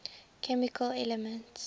chemical elements